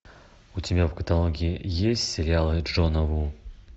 у тебя в каталоге есть сериалы джона ву